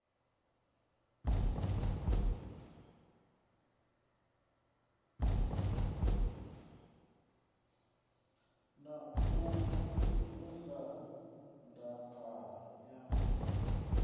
na u vunḓa ndaka ya